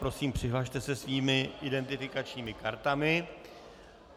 Prosím, přihlaste se svými identifikačními kartami.